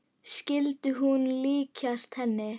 Skyldi hún líkjast henni?